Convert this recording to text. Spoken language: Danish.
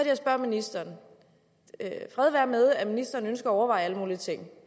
jeg spørger ministeren fred være med at ministeren ønsker at overveje alle mulige ting